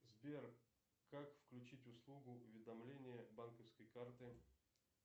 сбер как включить услугу уведомление банковской карты